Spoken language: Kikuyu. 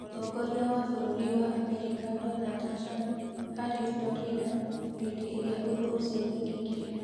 Mũtongoria wa bũrũri wa Amerika Donald Trump, aarĩ Florida hĩndĩ ĩrĩa ũndũ ũcio wekĩkire.